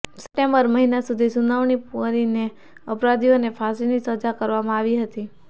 September મહિના સધી સુનાવણી પૂર્ણ કરીને રેપના અપરાધીઓને ફાંસીની સજા કરવામાં આવી હતી